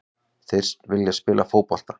Þeir vilja spila fótbolta.